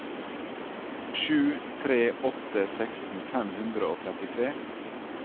sju tre tre åtte seksten fem hundre og trettitre